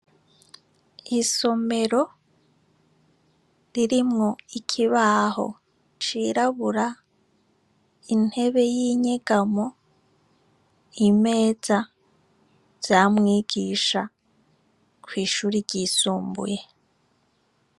Isomero ririmwo ikibaho cirabura intebe yinyegamo, imeza vya mwigisha kwishure ryisumbuye.